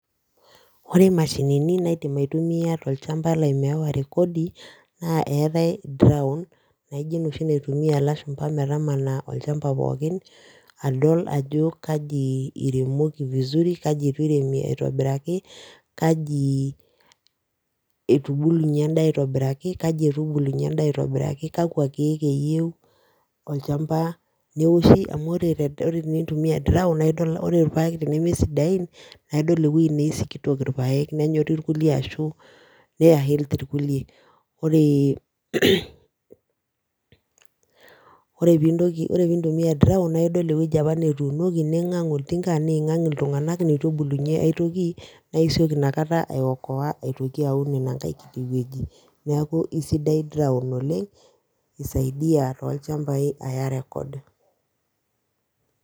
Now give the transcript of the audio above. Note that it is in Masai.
Ore imashinini naidim aitumia tolchampa lai meewa rekodi, naa eetae naijo enoshi naitumia ilashumpa metamana olchampa pookin adol ajo kaji iremoki olchampa pookin vizuri kaji eitu iremi aitobiraki kaji etubulunye edaa aitobiraki kaji, kakua keeku eyieu olchampa neoshi amu ore tenintumia drown ore entoki neme sidiain naa idol , nenyorri irkulie ashu naa healthy irkulie, ore , pee. Intoki pee intumia drown naa idol ewueji apa, netuunoki ningang oltinka niingang iltunganak , ewueji apa netubulunye aitoki naa idol inakata aitoki aun inankae kiti wueji, neeku aisidai drown oleng, isaidia toolchampai aya record